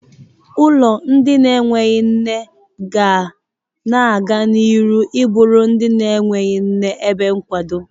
Ụlọ ndị enweghi nne ga na-aga n'ihu ịbụrụ ndị enweghi nne ebe nkwado.